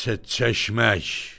Çeşmək!